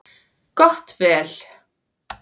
Gott vel.